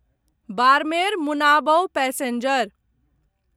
Barmer Munabao passenger